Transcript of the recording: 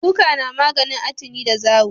Kuka na maganin atini da zawo